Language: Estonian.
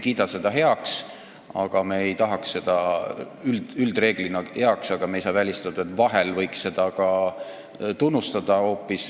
Me ei kiida seda üldiselt heaks, aga me ei saa välistada, et vahel võiks seda hoopis tunnustada.